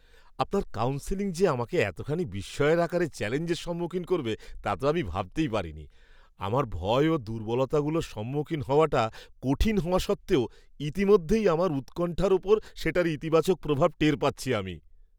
আপনার কাউন্সেলিং যে আমাকে এতখানি বিস্ময়ের আকারে চ্যলেঞ্জের সম্মুখীন করবে তা তো আমি ভাবতেই পারিনি! আমার ভয় ও দুর্বলতাগুলোর সম্মুখীন হওয়াটা কঠিন হওয়া সত্ত্বেও ইতিমধ্যেই আমার উৎকণ্ঠার ওপর সেটার ইতিবাচক প্রভাব টের পাচ্ছি আমি।